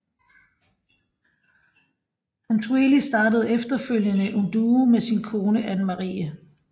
Hansueli startede efterfølgende en duo med sin kone Annemarie